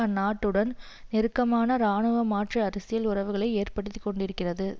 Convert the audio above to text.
அந்நாட்டுடன் நெருக்கமான இராணுவ மாற்று அரசியல் உறவுகளை ஏற்படுத்தி கொண்டிருக்கிறது